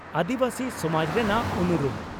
ᱟᱹᱫᱤᱵᱟᱹᱥᱤ ᱥᱚᱢᱟᱡᱽ ᱨᱮᱱᱟᱜ ᱩᱱᱩᱨᱩᱢ